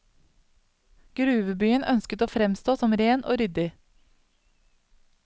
Gruvebyen ønsket å fremstå som ren og ryddig.